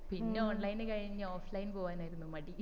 പിന്നെ online കഴിഞ്ഞു offline പോകാനായിരുന്നു മടി